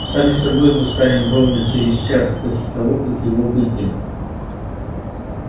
сами собой мы станем ровно через час после того как его выпьем